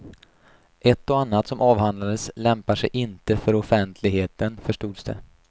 Ett och annat som avhandlades lämpar sig inte för offentligheten, förstods det.